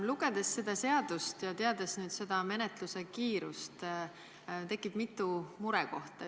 Lugedes seda seadust ja teades seda menetluse kiirust, tekib mitu murekohta.